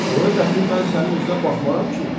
Sonra dəxin mən sənin üzünə baxmaram ki?